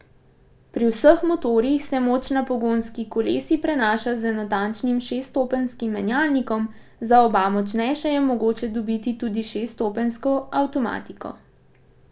Pri vseh motorjih se moč na pogonski kolesi prenaša z natančnim šeststopenjskim menjalnikom, za oba močnejša je mogoče dobiti tudi šeststopenjsko avtomatiko.